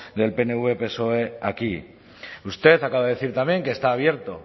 del pnv psoe aquí usted acaba de decir también que está abierto